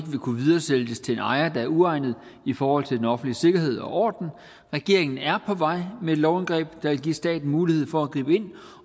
kunne videresælges til en ejer der er uegnet i forhold til den offentlige sikkerhed og orden regeringen er på vej med et lovindgreb der vil give staten mulighed for at gribe ind